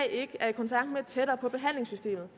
ikke er i kontakt med tættere på behandlingssystemet